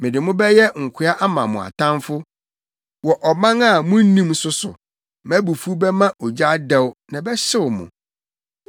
Mede mo bɛyɛ nkoa ama mo atamfo wɔ ɔman a munnim so so, mʼabufuw bɛma ogya adɛw na ɛbɛhyew mo.”